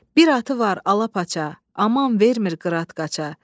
Bir atı var alapaça, aman vermir qırat qaca.